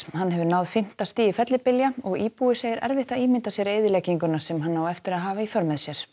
hann hefur náð fimmta stigi fellibylja og íbúi segir erfitt að ímynda sér eyðilegginguna sem hann á eftir að hafa í för með sér